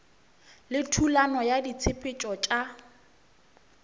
le thulano ya ditshepetšo tša